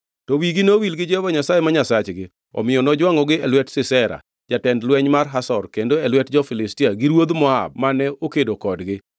“To wigi nowil gi Jehova Nyasaye ma Nyasachgi; omiyo nojwangʼogi e lwet Sisera, jatend lweny mar Hazor, kendo e lwet jo-Filistia gi ruodh Moab mane okedo kodgi.